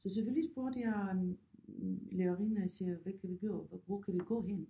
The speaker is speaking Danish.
Så selvfølgelig spurgte jeg lærerinde jeg siger hvad kan vi gøre? Hvor kan vi gå hen?